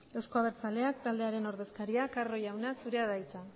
euzko abertzaleak taldearen ordezkaria den carro jauna zurea da hitza